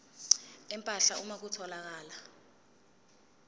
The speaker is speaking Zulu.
empahla uma kutholakala